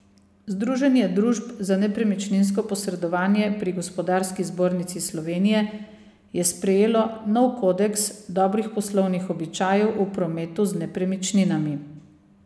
Združenje družb za nepremičninsko posredovanje pri Gospodarski zbornici Slovenije je sprejelo nov kodeks dobrih poslovnih običajev v prometu z nepremičninami.